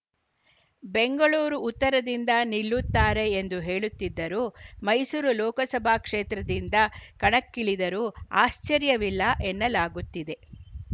ಬೆಂಗಳೂರು ಉತ್ತರದಿಂದ ನಿಲ್ಲುತ್ತಾರೆ ಎಂದು ಹೇಳುತ್ತಿದ್ದರೂ ಮೈಸೂರು ಲೋಕಸಭಾ ಕ್ಷೇತ್ರದಿಂದ ಕಣಕ್ಕಿಳಿದರೂ ಆಶ್ಚರ್ಯವಿಲ್ಲ ಎನ್ನಲಾಗುತ್ತಿದೆ